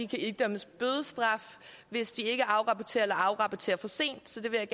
kan idømmes bødestraf hvis de ikke afrapporterer eller afrapporterer for sent det vil